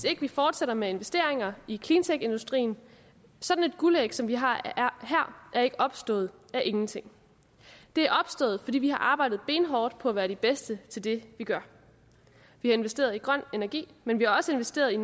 ikke fortsætter med investeringer i cleantechindustrien sådan et guldæg som vi har her er ikke opstået af ingenting det er opstået fordi vi har arbejdet benhårdt på at være de bedste til det vi gør vi har investeret i grøn energi men vi har også investeret i